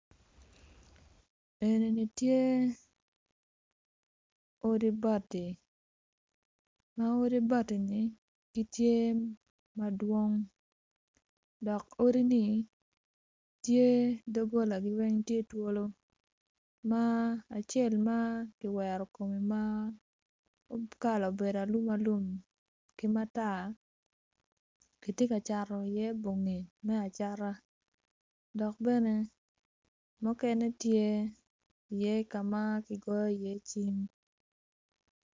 Eni ni tye odi bati ma odi bati ni gitye madwong dok odini tye dogolagi weng tye twolo ma acel ma kiwero kome ma kala obedo alum alum ki matar gitye ka cato i iye bonge me acata dok bene mukene tye i iye kama kigoyo iye cim